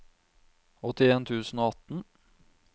åttien tusen og atten